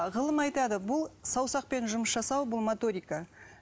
ғылым айтады бұл саусақпен жұмыс жасау бұл моторика